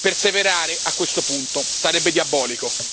Perseverare, a questo punto sarebbe diabolico.